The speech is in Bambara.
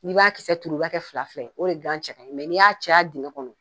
Ni b'a kisɛ turu iba kɛ fila fila ye o de gan cɛ kaɲɲi ni y'a caya ni y'a caya digɛn kɔnɔ